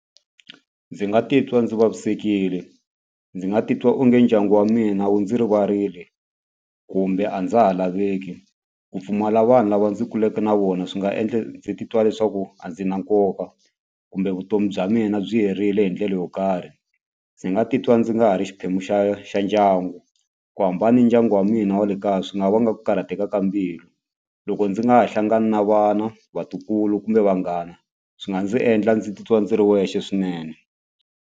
Ndzi nga titwa ndzi vavisekile ndzi nga titwa onge ndyangu wa mina wu ndzi rivarile kumbe a ndza ha laveki ku pfumala vanhu lava ndzi kuleke na vona swi nga endla ndzi titwa leswaku a ndzi na nkoka kumbe vutomi bya mina byi herile hi ndlele yo karhi ndzi nga titwa ndzi nga ha ri xiphemu xa xa ndyangu ku hambana ni dyangu wa wena wa le kaya swi nga vanga ku karhateka ka mbilu loko ndzi nga ha hlangani na vana vatukulu kumbe vanghana swi nga ndzi endla ndzi titwa ndzi ri wexe swinene.